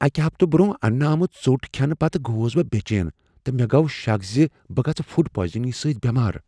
اکہ ہفتہٕ برٛونٛہہ اننہٕ آمٕژ ژوٚٹ کھینہٕ پتہٕ گوس بہٕ بے چین تہٕ مےٚ گوٚو شک ز بہٕ گژھہٕ فوڈ پوائزننگ سۭتۍ بیمار۔